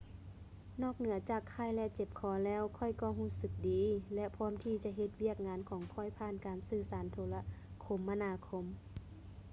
ນອກເໜືອຈາກໄຂ້ ແລະ ເຈັບຄໍແລ້ວ ຂ້ອຍກໍຮູ້ສຶກດີ ແລະ ພ້ອມທີ່ຈະເຮັດວຽກງານຂອງຂ້ອຍຜ່ານການສື່ສານໂທລະຄົມມະນາຄົມ